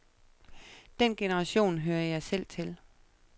Den generation hører jeg selv til.